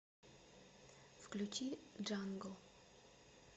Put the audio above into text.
включи джангл